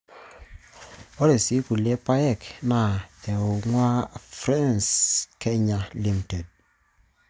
Ore sii kulie paayek naa eing'waa Freshco kenya Ltd.